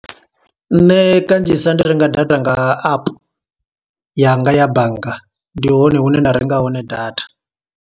Nṋe kanzhisa ndi renga data nga app, yanga ya bannga. Ndi hone hune nda renga hone data.